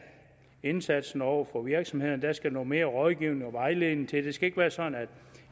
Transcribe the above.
indsatsen over for virksomhederne der skal noget mere rådgivning og vejledning til det skal ikke være sådan at